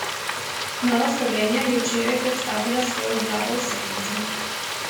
Nova Slovenija je včeraj predstavila svojo vlado v senci.